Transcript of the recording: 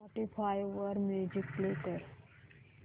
Spotify वर music play कर